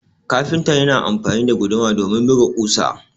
kafinta yana amfani da guduma domin buga kusa